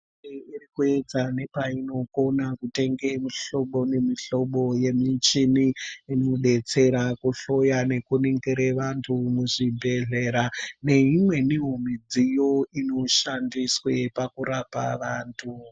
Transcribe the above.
Hurumende irikuedza nepainogona kutenga mihlobo nemihlobo yemichini inobetsera kuhloya nekuningira vanthu muzvibhedhlera neimweniwo midziyo inoshandiswa pakurapa vanthu.